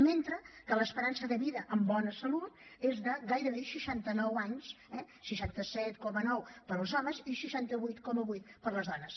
mentre que l’esperança de vida amb bona salut és de gairebé seixanta nou anys eh seixanta set coma nou per als homes i seixanta vuit coma vuit per a les dones